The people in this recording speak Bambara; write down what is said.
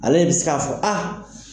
Ale de bɛ se k'a fɔ a.